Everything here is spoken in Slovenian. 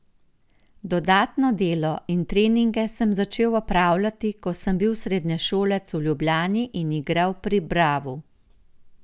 Dodatno delo in treninge sem začel opravljati, ko sem bil srednješolec v Ljubljani in igral pri Bravu.